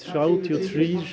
þrjátíu og þrír